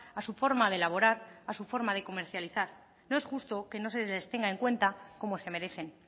a su forma de elaborar a su forma de comercializar no es justo que no se les tenga en cuenta como se merecen